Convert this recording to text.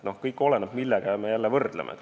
Kõik oleneb sellest, millega me midagi võrdleme.